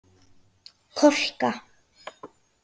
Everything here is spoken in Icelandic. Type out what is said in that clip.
Kolka